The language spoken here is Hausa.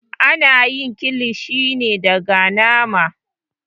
Ana yin kilishi ne daga nama.